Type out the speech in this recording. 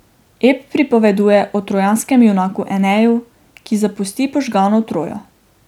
Ep pripoveduje o trojanskem junaku Eneju, ki zapusti požgano Trojo.